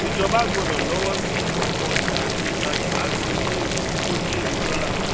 ìjọba gbọdọ lọwọ sí ọpọ ọjà àti ìtajà láti mú ìlú kò jèrè dọlà